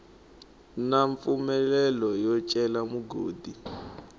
na mpfumelelo yo cela migodi